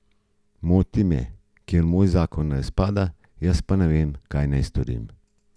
Moti me, ker moj zakon razpada, jaz pa ne vem, kaj naj storim.